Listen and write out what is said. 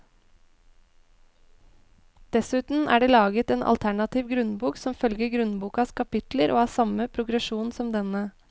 Dessuten er det laget en alternativ grunnbok som følger grunnbokas kapitler og har samme progresjon som denne.